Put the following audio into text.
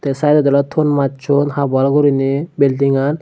sideot oley ton machon half wall guriney buildingan.